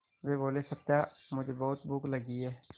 वे बोले सत्या मुझे बहुत भूख लगी है